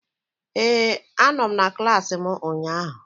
Ee, anọ m na klassị mụ ụnyaahụ.